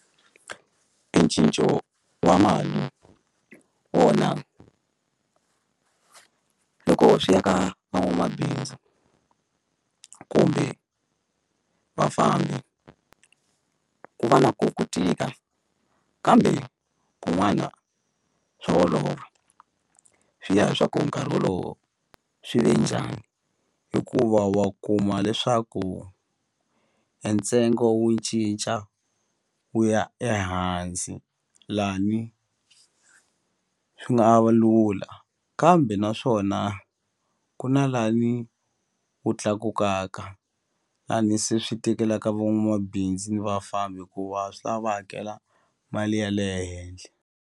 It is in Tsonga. I cinco wa mali wona loko swi ya ka van'wamabindzu kumbe vafambi ku va na ko ku tika kambe kun'wana swa olova swi ya hi swaku nkarhi wolowo swi ve njhani hikuva wa kuma leswaku e ntsengo wu cinca wu ya ehansi lani swi nga va lula kambe naswona ku na lani wu tlakukaka lani se swi tekelaka van'wamabindzu ni vafambi hikuva swi la va hakela mali ya le henhle.